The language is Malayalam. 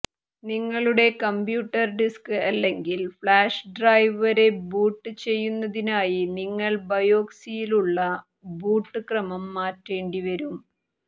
നിങ്ങളുടെ കമ്പ്യൂട്ടർ ഡിസ്ക് അല്ലെങ്കിൽ ഫ്ലാഷ് ഡ്രൈവ് വരെ ബൂട്ട് ചെയ്യുന്നതിനായി നിങ്ങൾ ബയോസിലുള്ള ബൂട്ട് ക്രമം മാറ്റേണ്ടിവരും